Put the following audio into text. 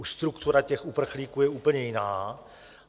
Už struktura těch uprchlíků je úplně jiná.